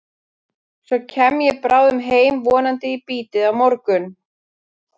Svo kem ég bráðum heim, vonandi í bítið á morgun.